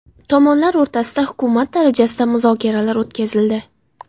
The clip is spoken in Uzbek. Tomonlar o‘rtasida hukumat darajasida muzokaralar o‘tkazildi.